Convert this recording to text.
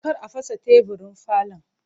Kar a fasa teburin falon!